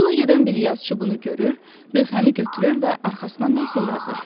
Yola gedən bir yazıçı bunu görür, lövhəni götürür və arxasına nəysə yazır.